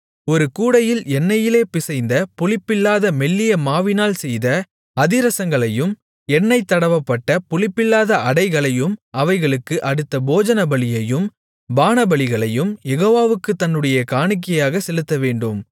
ஒரு கூடையில் எண்ணெயிலே பிசைந்த புளிப்பில்லாத மெல்லிய மாவினால் செய்த அதிரசங்களையும் எண்ணெய் தடவப்பட்ட புளிப்பில்லாத அடைகளையும் அவைகளுக்கு அடுத்த போஜனபலியையும் பானபலிகளையும் யெகோவாவுக்குத் தன்னுடைய காணிக்கையாகச் செலுத்தவேண்டும்